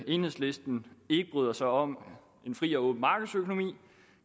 enhedslisten ikke bryder sig om en fri og åben markedsøkonomi